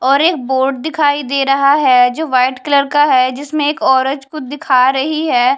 और एक बोर्ड दिखाई दे रहा है जो वाइट कलर का है जिसमे एक ओरत कुछ दिखा रही है ।